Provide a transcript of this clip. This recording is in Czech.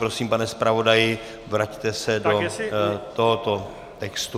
Prosím, pane zpravodaji, vraťte se do tohoto textu.